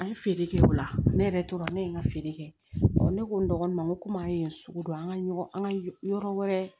An ye feere kɛ o la ne yɛrɛ tora ne ye n ka feere kɛ ne ko n dɔgɔnin ma n ko an ye sugu dɔn an ka ɲɔgɔn ka yɔrɔ wɛrɛ